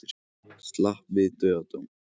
Slapp við dauðadóm